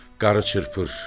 Qarı çırpır.